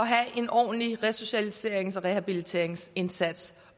har en ordentlig resocialiserings og rehabiliteringsindsats